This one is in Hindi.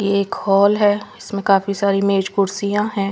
ये एक हॉल है इसमें काफी सारी मेज कुर्सियां हैं।